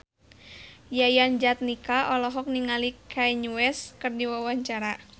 Yayan Jatnika olohok ningali Kanye West keur diwawancara